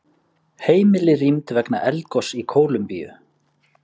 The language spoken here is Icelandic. Heimili rýmd vegna eldgoss í Kólumbíu